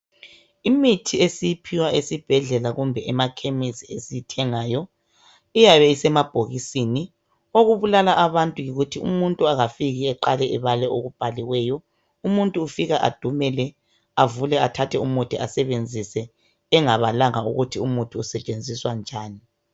Imithi esiyiphiwa esibhedlela kumbe emachemis esiyithengayo iyabe isemabhokisini okubulala abantu yikuthi umuntu angafika eqale ebale okubhaliweyo umuntu ufika adumele avule athathe umuthi asebenzise engabalanga ukuthi usetshenziswa njani